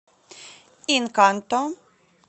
инканто